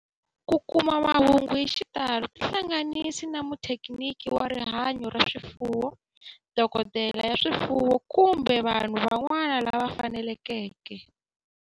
Ku kuma mahungu hi xitalo tihlanganisi na muthekiniki wa rihanyo ra swifuwo, dokodela ya swifuwo, kumbe vanhu van'wana lava fanelekeke